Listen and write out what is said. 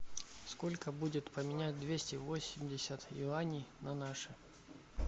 сколько будет поменять двести восемьдесят юаней на наши